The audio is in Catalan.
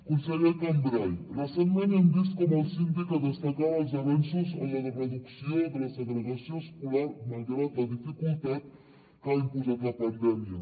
conseller cambray recentment hem vist com el síndic destacava els avenços en la reducció de la segregació escolar malgrat la dificultat que ha imposat la pandèmia